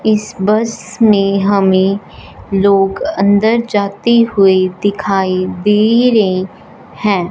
इस बस में हमें लोग अंदर जाते हुए दिखाई दे रे हैं।